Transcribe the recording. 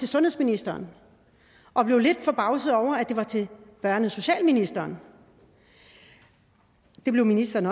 sundhedsministeren og blev lidt forbavset over at det var til børne og socialministeren og det blev ministeren